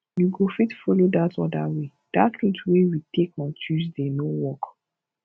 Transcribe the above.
you go fit follow dat other way dat route wey we take on tuesday no work